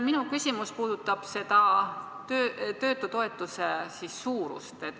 Minu küsimus puudutab töötutoetuse suurust.